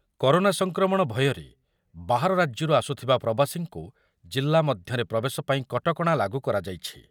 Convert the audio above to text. Corona ସଂକ୍ରମଣ ଭୟରେ ବାହାର ରାଜ୍ୟରୁ ଆସୁଥିବା ପ୍ରବାସୀଙ୍କୁ ଜିଲ୍ଲା ମଧ୍ୟରେ ପ୍ରବେଶ ପାଇଁ କଟକଣା ଲାଗୁ କରାଯାଇଛି ।